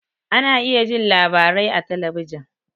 Ana iya jin labarai a talabijin